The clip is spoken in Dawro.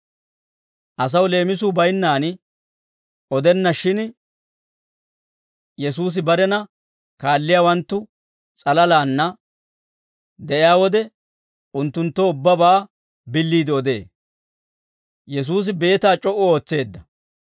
Asaw leemisuu baynnaan odenna; shin Yesuusi barena kaalliyaawanttu s'alalaanna de'iyaa wode, unttunttoo ubbabaa billiide odee.